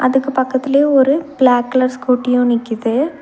அதுக்கு பக்கத்துலயே ஒரு பிளாக் கலர் ஸ்கூட்டியு நிக்குது.